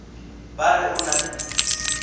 ba re o na le